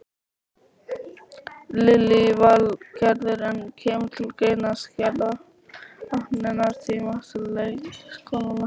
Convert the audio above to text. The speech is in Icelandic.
Lillý Valgerður: En kemur til greina að skerða opnunartíma leikskólana?